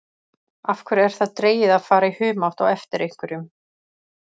Af hverju er það dregið að fara í humátt á eftir einhverjum?